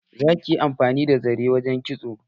Za ki yi amfani da zare wurin kitso.